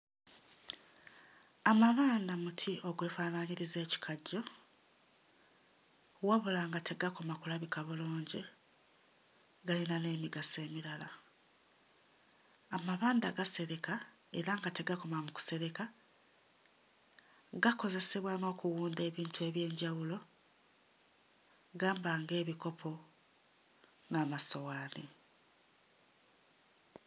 Amabanda muti ogwefaanaanyiriza ekikajjo wabula nga tegakoma kulabika bulungi, gayina n'emigaso emirala. Amabanda gasereka era nga tegakoma mu kusereka, gakozesebwa n'okuwunda ebintu eby'enjawulo gamba nga ebikopo n'amasowaani.